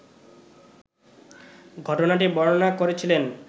ঘটনাটি বর্ণনা করেছিলেন